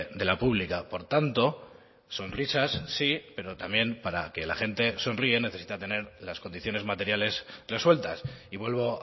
de la pública por tanto sonrisas sí pero también para que la gente sonría necesita tener las condiciones materiales resueltas y vuelvo